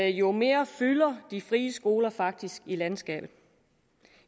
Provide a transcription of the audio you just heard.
jo mere fylder de frie skoler faktisk i landskabet